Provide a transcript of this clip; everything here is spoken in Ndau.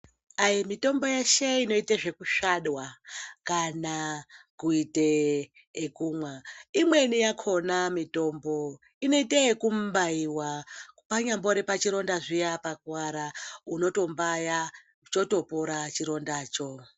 Ayi! mitombo yeshe inote zvekusvadwa kana kuite yekumwa imweni yakona mitombo inoite yekumbaiwa panyambori pachironda zviya pakuwara unoto mbaya chotopora chirondacho.